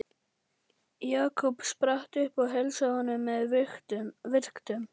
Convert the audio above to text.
Jakob spratt upp og heilsaði honum með virktum.